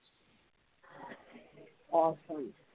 Awesome